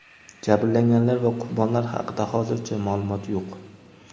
Jabrlanganlar va qurbonlar haqida hozircha maʼlumot yo‘q.